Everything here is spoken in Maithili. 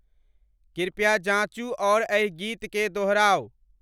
कृपया जाँचू अउर एहि गीत के दोहराऊ